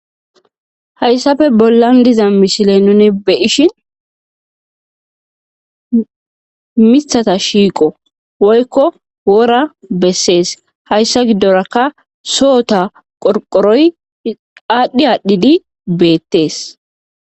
Hayssafe bollan diza mishile nuni be ishin mithata shiiqo woykko wora bessees hayssa giddorakka sohota qorqoroy qaadhdhi aadhdhidi beettees.